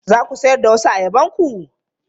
Za ku sayar da wasu ayabanku?